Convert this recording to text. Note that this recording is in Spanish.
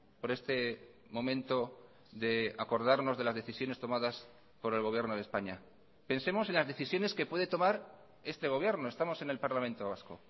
por este momento de acordarnos de las decisiones tomadas por el gobierno de españa pensemos en las decisiones que puede tomar este gobierno estamos en el parlamento vasco